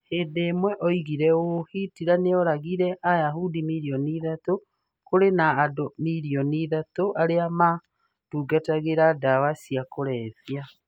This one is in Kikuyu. Hĩndĩ ĩmwe oigire ũũ: "Hitler nĩ oragire Ayahudi milioni ithatũ ... Kũrĩ na andũ milioni ithatũ arĩa matungatagĩra ndawa cia kũrebia.